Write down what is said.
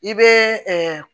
I bɛ